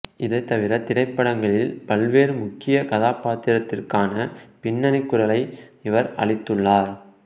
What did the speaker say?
இதைத்தவிர திரைப்படங்களில் பல்வேறு முக்கிய கதாபாத்திரத்திற்கான பின்னணி குரரையும் இவர் அளித்துள்ளார்